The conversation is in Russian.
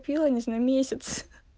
ну мне нужен месяц